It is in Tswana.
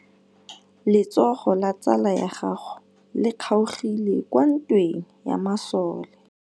Letsôgô la tsala ya gagwe le kgaogile kwa ntweng ya masole.